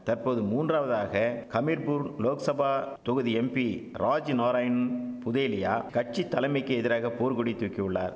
தற்போது மூன்றாவதாக கமிர்பூர் லோக்சபா தொகுதி எம்பி ராஜ்நாராயண் புதேலியா கட்சித்தலமைக்கி எதிராக போர்கொடி தூக்கியுள்ளார்